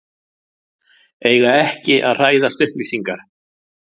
Eiga ekki að hræðast upplýsingar